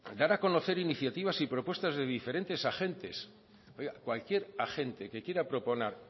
dar a conocer iniciativas y propuestas de diferentes agentes oiga cualquier agente que quiera proponer